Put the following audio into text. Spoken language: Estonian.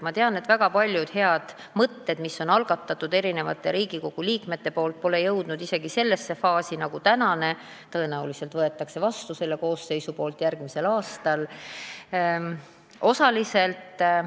Ma tean, et väga paljud head mõtted, mille on algatanud mitmed Riigikogu liikmed, pole jõudnud isegi sellesse faasi, nagu on see tänane eelnõu, kusjuures tõenäoliselt võtab veel see koosseis järgmisel aastal selle seaduse vastu.